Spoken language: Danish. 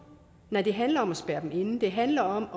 nej det handler om at spærre dem inde det handler om